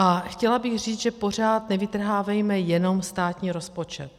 A chtěla bych říct, že pořád nevytrhávejme jenom státní rozpočet.